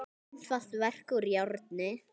Mjög einfalt verk úr járni.